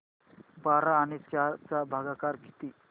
बारा आणि चार चा भागाकर किती